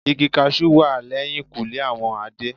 Igi cashew wà lẹ́yìnkùlé àwọn Adé.